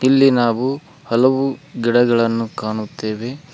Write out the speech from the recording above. ಇಲ್ಲಿ ನಾವು ಹಲವು ಗಿಡಗಳನ್ನು ಕಾಣುತ್ತೇವೆ.